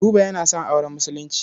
Buba yana son auren Musulunci.